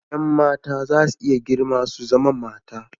Yan mata za su iya girma su zama mata.